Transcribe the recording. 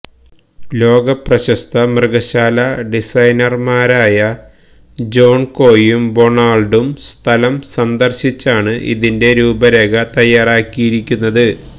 ലോക പ്രശസ്ത മൃഗശാലാ ഡിസൈനര്മാരായ ജോണ്കൊയും ബൊണാള്ഡും സ്ഥലം സന്ദര്ശിച്ചാണ് ഇതിന്റെ രൂപരേഖ തയ്യാറാക്കിയിരിക്കുന്നത്